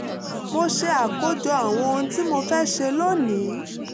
mo ṣe àkójọ àwọn ohun tí mo fẹ́ ṣe lónìí